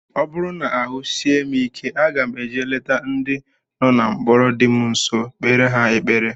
Ọ bụrụ na ahụ sie m ike, aga eje leta ndị nọ na mkpọrọ dị m nsọ, kpere ha ekpere